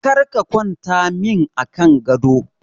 Kar ka kwanta min a kan gado!